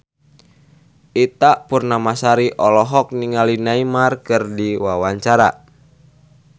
Ita Purnamasari olohok ningali Neymar keur diwawancara